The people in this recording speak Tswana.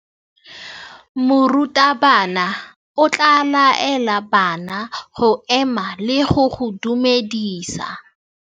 Morutabana o tla laela bana go ema le go go dumedisa.